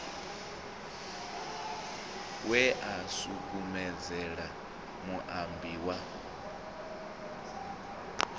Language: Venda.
we a sukumedzela muambi wa